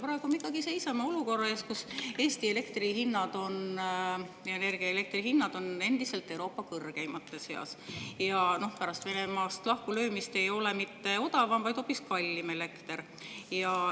Praegu me seisame olukorra ees, kus Eesti energia ja elektri hinnad on endiselt Euroopa kõrgeimate seas, ja pärast Venemaast lahkulöömist ei ole elekter mitte odavam, vaid hoopis kallim.